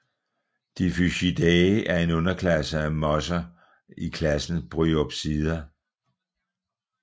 Diphysciidae er en underklasse af mosser i klassen Bryopsida